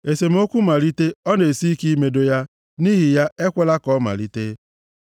Esemokwu malite ọ na-esi ike imedo ya, nʼihi ya ekwela ka ọ malite.